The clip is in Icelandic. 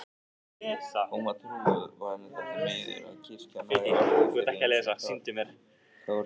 Hún var trúuð og henni þótti miður að kirkjan hafði orðið fyrir ýmsum kárínum.